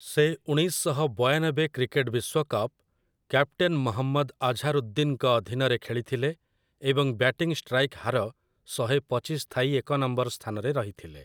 ସେ ଉଣେଇଶ ଶହ ବୟାନବେ କ୍ରିକେଟ୍ ବିଶ୍ୱ କପ୍, କ୍ୟାପ୍ଟେନ୍ ମହମ୍ମଦ୍ ଆଝାରୁଦ୍ଦିନ୍‌ଙ୍କ ଅଧୀନରେ ଖେଳିଥିଲେ ଏବଂ ବ୍ୟାଟିଂ ଷ୍ଟ୍ରାଇକ୍ ହାର ଶହେପଚିଶ ଥାଇ ଏକ ନମ୍ବର୍ ସ୍ଥାନରେ ରହିଥିଲେ ।